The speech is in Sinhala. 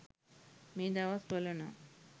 මේ දවස් වල නම්